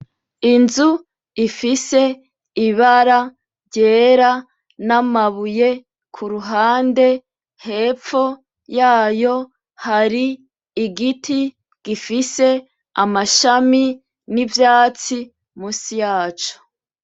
Inzu ifise ibara ryera n'amabuye ku ruhande, hepfo yayo hari igiti gifise amashami; n'ivyatsi musi yaco.